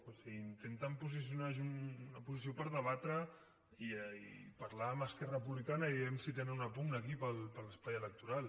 o sigui intenten una posició per debatre i parlar amb esquerra republicana a veure si tenen una pugna aquí per l’espai electoral